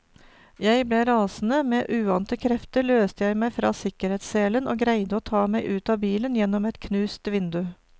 Jeg ble rasende, med uante krefter løste jeg meg fra sikkerhetsselen og greide å ta meg ut av bilen gjennom et knust vindu.